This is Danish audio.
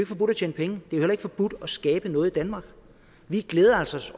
forbudt at tjene penge det er jo heller ikke forbudt at skabe noget i danmark vi glæder os